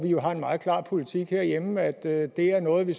jo en meget klar politik herhjemme om at det er noget vi